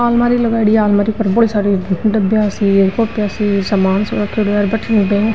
अलमारी लगाई डी है अलमारी पर बड़ी साडी डब्बिया सी है सामान सो रखेड़ो है भटीने --